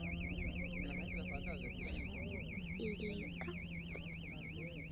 Langar þig í líka?